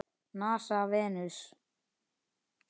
NASA- Venus.